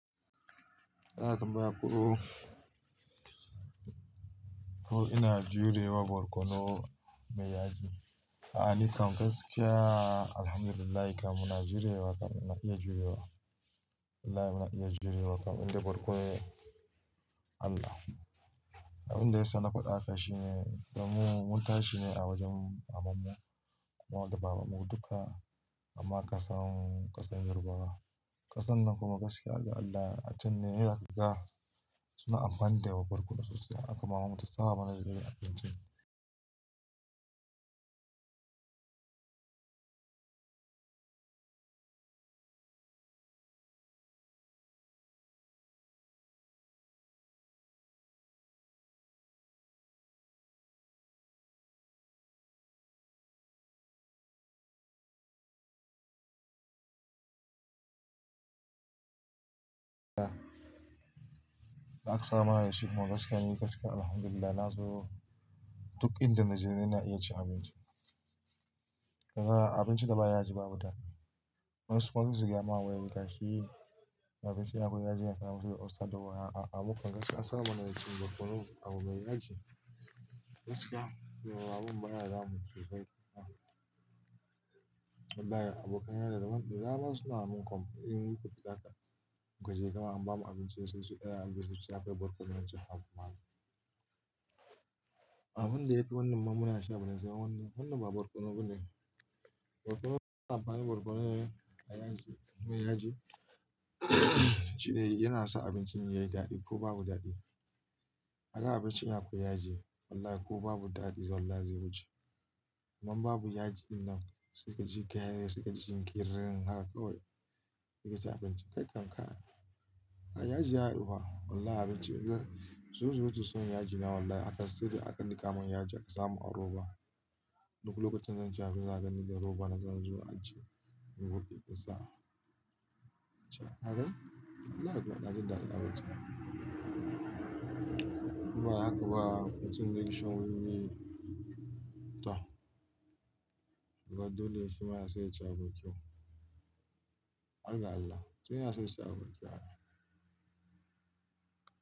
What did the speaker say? Eh, atamba aku. Ko ina jurewa barkono mai yaji. A'a, ni kam gaskiya alhamdulillahi kam muna jurewa kam ina iya jurewa. Wallahi ba'a iya jurewa kam. Indai barkono ne Allah. Abin da ya sa na fadi hakan shine, damu mun tashi ne a wajen mamanmu. Kuma da babanmu dukka. Amma ƙasan ƙasar Yarbawa. Ƙasan nan kuma gaskiya har ga Allah achan ne idan aka ga suna amfani da wa barkono sosai. Haka mamanmu ta saba mana da irin abincin. Da, da aka saba mana da shi kuma gaskiya ni gaskiya ni Alhamdulillahi na zo duk inda na je ina iya cin abinci. Ahh abinci da ba yaji babu daɗi. Man su manzigiya ma wai ya yi gashi. Abinci akwai yaji yana sa mutum ya yi usta da wuya. A'a, abun kwa mu gaskiya an saba mana da cin barkono abu mai yaji. Gaskiya abun baya damunmu sosai kai. Wallahi abokanai da daban daban suna mun kwam in yi kuɗi haka in gaje kama an bamu abinci sai sai ya kai barkono yanci hagu mana. Abun da ya fi wannan ma muna sha ballantana wannan, wannan ba barkono bane. Barkono amfani barkono ne mai yaji, mai yaji, shine yana sa abincin yayi daɗi ko babu daɗi. Haka abincin akwai yaji wallahi ko babu daɗi, wallahi zai wuce. Idan babu yaji dinnan suka ci gyare, suka ci ƙiririn haka kawai suka ci abinci kai kan ka. Yaji ya haɗu fa wallahi abinci zai, zo zo su san yaji na wallahi haka sai da aka nika mun yaji aka samu a roba. Duk lokacin da zan ci abinci zaka ganni da roba na zan zo na zauna Allah yasa na ji daɗi abinci. Inba hakaba mutum zaiyi shan wiwi. To! Gaba dole shi ma yaso yaci abincin. Allah Allah sai yanaso ya siya abincin.